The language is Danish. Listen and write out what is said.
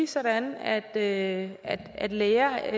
sådan at at læger